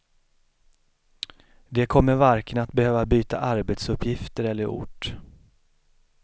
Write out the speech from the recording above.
De kommer varken att behöva byta arbetsuppgifter eller ort.